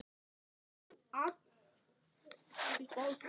Keyrðum yfir þá í seinni hálfleiknum